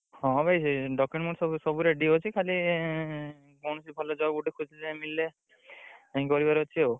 ହଁ ଭାଇ document ମୋର ସବୁ ସବୁ ready ଅଛି ଖାଲି କୌଣସି ଭଲ job ଗୋଟେ ମିଳିଲେ ଖୋଜିଦେଲେ ମିଳିଲେ ଅଛି ଆଉ।